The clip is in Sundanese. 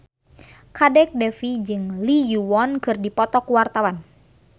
Kadek Devi jeung Lee Yo Won keur dipoto ku wartawan